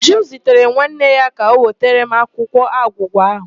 Uju zitere nwanne ya ka ọ wetara m akwụkwọ agwụgwa ahụ.